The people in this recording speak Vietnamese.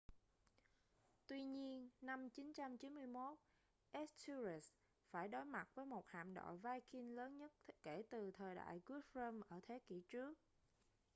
tuy nhiên năm 991 ethelred phải đối mặt với một hạm đội viking lớn nhất kể từ thời đại guthrum ở thế kỷ trước